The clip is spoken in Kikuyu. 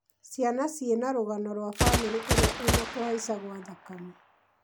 ciana ciĩna rũgano rwa bamĩrĩ ĩrĩa ĩna kũhaica gwa thakame